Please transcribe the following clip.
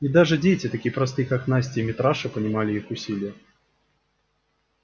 и даже дети такие простые как настя и митраша понимали их усилие